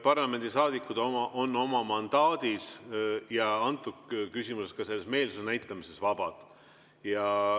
Parlamendisaadikud on oma mandaadis ja antud küsimuses, ka meelsuse näitamises vabad.